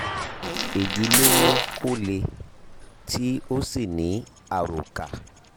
èyí ló mú kó le tí ó sì ní àròkà